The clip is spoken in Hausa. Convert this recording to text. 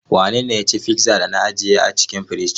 Wanene ya ci pizza da na ajiye a cikin firij?